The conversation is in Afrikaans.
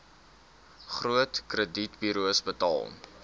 groot kredietburos betaal